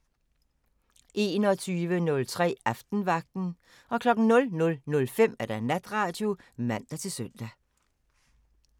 21:03: Aftenvagten 00:05: Natradio (man-søn)